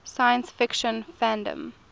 science fiction fandom